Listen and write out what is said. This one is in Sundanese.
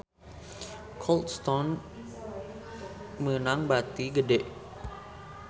Cold Stone meunang bati gede